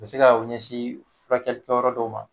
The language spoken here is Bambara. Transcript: U be se ka u ɲɛsin furakɛli kɛ yɔrɔ dɔw ma.